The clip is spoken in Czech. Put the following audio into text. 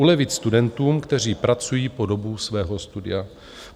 Ulevit studentům, kteří pracují po dobu svého studia.